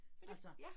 Altså